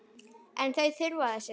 En þau þurfa þess ekki.